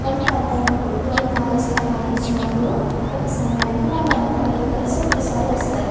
కొంత పెద్దాయనప్పుడు వాళ్ళ మ్యారేజ్ టైం వచ్చినప్పుడు పెళ్లి సమయం వచ్చినప్పుడు అందరూ కలిసి ఒకేసారి వస్తారు.